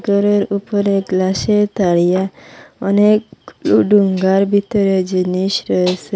গরের উপরে গ্লাসের তারিয়া অনেক ডু ডুঙ্গার ভিতরে জিনিস রয়েসে।